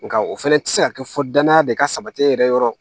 Nga o fana ti se ka kɛ fɔ danaya de ka sabali yɛrɛ yɔrɔ